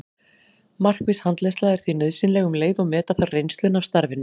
Markviss handleiðsla er því nauðsynleg um leið og meta þarf reynsluna af starfinu.